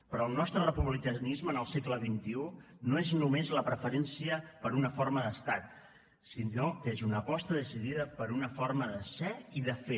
però el nostre republicanisme en el segle xxi no és només la preferència per una forma d’estat sinó que és una aposta decidida per una forma de ser i de fer